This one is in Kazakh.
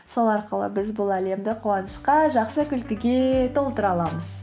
сол арқылы біз бұл әлемді қуанышқа жақсы күлкіге толтыра аламыз